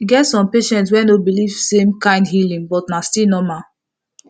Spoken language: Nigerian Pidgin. e get some patients wey no believe same kind healing but na still normal